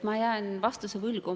Ma jään vastuse võlgu.